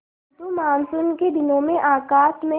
किंतु मानसून के दिनों में आकाश में